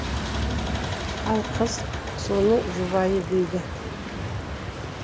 ал қыз соның жұбайы дейді